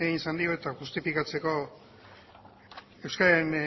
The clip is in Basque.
egin izan dio eta justifikatzeko euskadiren